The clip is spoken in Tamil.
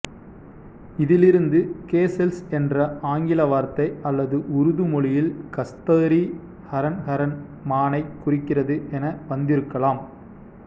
இதிலிருந்து கேசெல்ஸ் என்ற ஆங்கில வார்த்தை அல்லது உருது மொழியில் கஸ்தோரி ஹரன் ஹரன் மானைக் குறிக்கிறது என வந்திருக்கலாம்